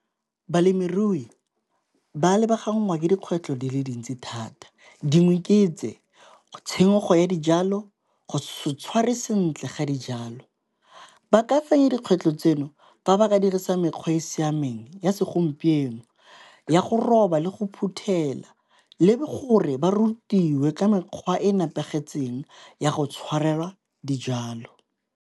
Balemirui ba lebaganngwa ke dikgwetlho di le dintsi thata dingwe ke tse, tshenyego ya dijalo, go se tshware sentle ga dijalo. Ba ka fenya dikgwetlo tseno fa ba ka dirisa mekgwa e e siameng ya segompieno ya go roba le go phuthela le gore ba rutiwe ka mekgwa e nepagetseng ya go tshwarelwa dijalo.